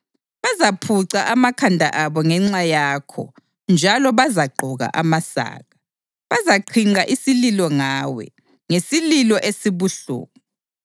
Bazaphuca amakhanda abo ngenxa yakho njalo bazagqoka amasaka. Bazaqhinqa isililo ngawe ngesililo esibuhlungu.